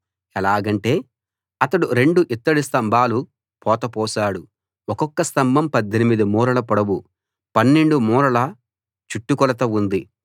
ఎలాగంటే అతడు రెండు ఇత్తడి స్తంభాలు పోత పోశాడు ఒక్కొక్క స్తంభం 18 మూరల పొడవు 12 మూరల చుట్టు కొలత ఉంది